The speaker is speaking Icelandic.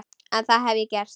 En það hef ég gert.